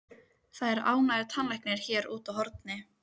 Það er ágætur tannlæknir hér úti á horni.